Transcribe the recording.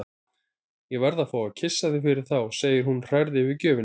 Ég verð að fá að kyssa þig fyrir þá, segir hún hrærð yfir gjöfinni.